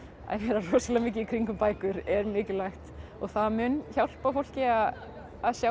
vera rosalega mikið í kringum bækur er mikilvægt og það mun hjálpa fólki að sjá